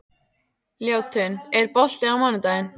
Ljótunn, er bolti á mánudaginn?